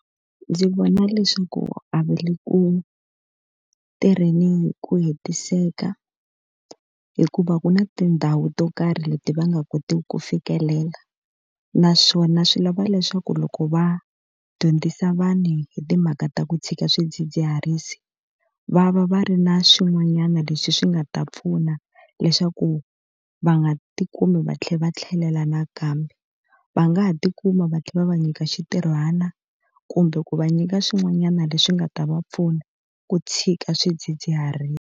Ndzi vona leswaku a va le ku tirheni hi ku hetiseka, hikuva ku na tindhawu to karhi leti va nga kotiki ku fikelela. Naswona swi lava leswaku loko va dyondzisa vanhu hi timhaka ta ku tshika swidzidziharisi, va va va ri na swin'wanyana leswi swi nga ta pfuna leswaku va nga tikumi va tlhela va tlhelela nakambe. Va nga ha tikuma va tlhela va va nyika xintirhwana, kumbe ku va nyika swin'wanyana leswi nga ta va pfuna ku tshika swidzidziharisi.